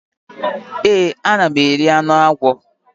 Èé, ana m eri anụ agwọ.